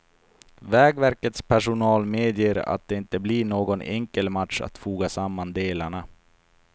Vägverkets personal medger att det inte blir någon enkel match att foga samman delarna.